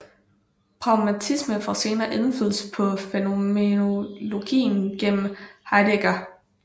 Pragmatismen får senere indflydelse på fænomenologien gennem Heidegger